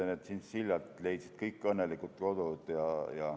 Tšintšiljad leidsid kõik õnnelikult kodud.